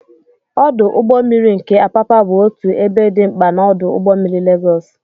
Ọdụ ụgbọ mmiri nke Apapa bụ otu ebe dị mkpa na ọdụ ụgbọ mmiri Legos.